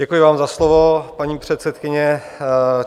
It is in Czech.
Děkuji vám za slovo, paní předsedkyně.